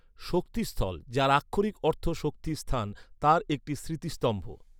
শক্তি স্থল, যার আক্ষরিক অর্থ শক্তির স্থান, তাঁর একটি স্মৃতিস্তম্ভ।